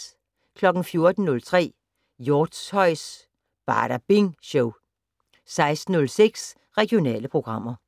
14:03: Hjortshøjs Badabing Show 16:06: Regionale programmer